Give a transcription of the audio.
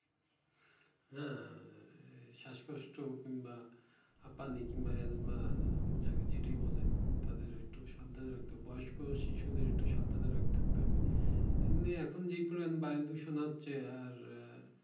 হ্যাঁ শ্বাসকষ্ট কিংবা হাঁপানি কিংবা এলমা যা যেটাই বলেন তাদের একটু সাবধানে রাখতে হবে বয়স্ক আর শিশুদের একটু সাবধানে থাকতে হবে এমনি এখন যে পরিমানে বায়ু দূষণ হচ্ছে আর আহ